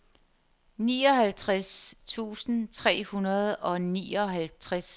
nioghalvtreds tusind tre hundrede og nioghalvtreds